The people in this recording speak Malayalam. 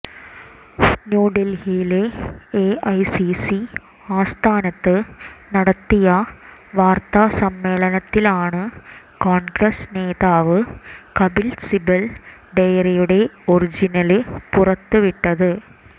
ന്യൂഡല്ഹിയിലെ എഐസിസി ആസ്ഥാനത്ത് നടത്തിയ വാര്ത്താ സമ്മേളനത്തിലാണ് കോണ്ഗ്രസ് നേതാവ് കപില് സിബല് ഡയറിയുടെ ഒറിജിനല് പുറത്തുവിട്ടത്